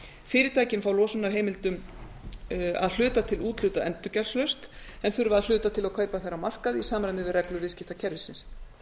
ári fyrirtækin fá losunarheimildir að hluta til úthlutað endurgjaldslaust en þurfa að hluta til að kaupa þær á markaði í samræmi við reglur viðskiptakerfisins